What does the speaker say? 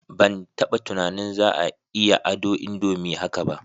Ban taba tunanin za a iya ado indomie haka ba